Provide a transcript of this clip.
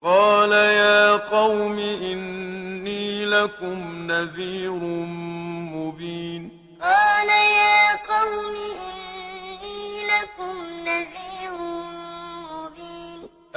قَالَ يَا قَوْمِ إِنِّي لَكُمْ نَذِيرٌ مُّبِينٌ قَالَ يَا قَوْمِ إِنِّي لَكُمْ نَذِيرٌ مُّبِينٌ